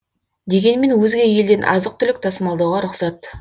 дегенмен өзге елден азық түлік тасымалдауға рұқсат